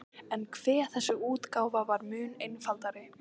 En hve þessi útgáfa var mun einfaldari!